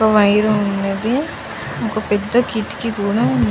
ఒక వైరు ఉనది ఒక పేద కిటికీ కూడా ఉనది.